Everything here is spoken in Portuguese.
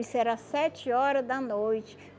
Isso era sete hora da noite.